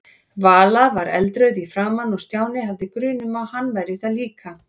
Vala var eldrauð í framan og Stjáni hafði grun um að hann væri það líka.